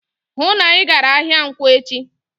"Hụụ na Ị gara ahịa nkwọ echi!"